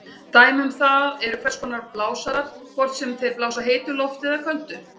Dæmi um það eru hvers konar blásarar, hvort sem þeir blása heitu lofti eða köldu.